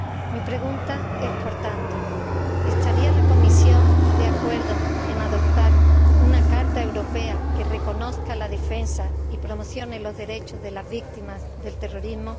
Mi pregunta es, por tanto ¿estaría la Comisión de acuerdo en adoptar una carta europea que reconozca la defensa y promocione los derechos de las víctimas del terrorismo?